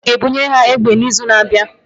Gọọmentị ga-ebunye ha egbe n'izu na-abịa.